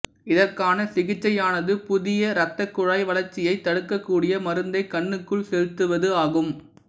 இதற்கான சிகிச்சையானது புதிய ரத்தக்குழாய் வளர்ச்சியைத் தடுக்கக்கூடிய மருந்தைக் கண்ணுக்குள் செலுத்துவது ஆகும்